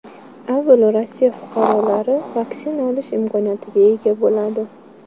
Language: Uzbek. Avvalo Rossiya fuqarolari vaksina olish imkoniyatiga ega bo‘ladi.